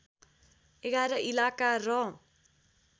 ११ इलाका र